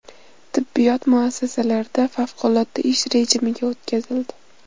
Tibbiyot muassasalari favqulodda ish rejimiga o‘tkazildi.